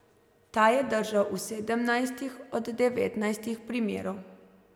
Ta je držal v sedemnajstih od devetnajstih primerov.